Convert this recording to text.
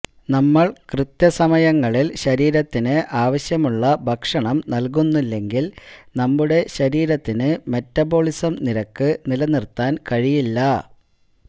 നമ്മൾ കൃത്യസമയങ്ങളിൽ ശരീരത്തിന് ആവശ്യതമുള്ള ഭക്ഷണം നൽകുന്നില്ലെങ്കില് നമ്മുടെ ശരീരത്തിന് മെറ്റബോളിസം നിരക്ക് നിലനിർത്താൻ കഴിയില്ല